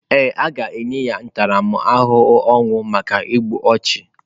Ee, a ga-enye ya ntaramahụhụ ọnwụ maka igbu ọchụ.